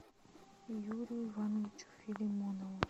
юрию ивановичу филимонову